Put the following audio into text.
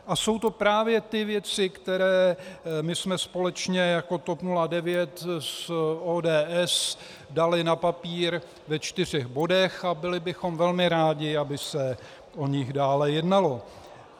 A jsou to právě ty věci, které my jsme společně jako TOP 09 s ODS dali na papír ve čtyřech bodech a byli bychom velmi rádi, aby se o nich dále jednalo.